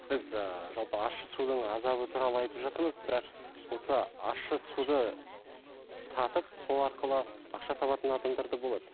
біз ыыы жалпы ащы судың азабы туралы айтып жатырмыз бірақ осы ащы суды татып сол арқылы ақша табатын адамдар да болады